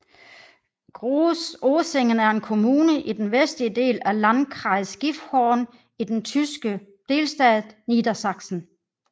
Groß Oesingen er en kommune i den vestlige del af Landkreis Gifhorn i den tyske delstat Niedersachsen